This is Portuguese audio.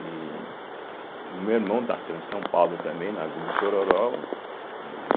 E o meu irmão nasceu em São Paulo também, na Vila Itororó, em